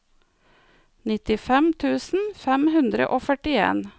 nittifem tusen fem hundre og førtien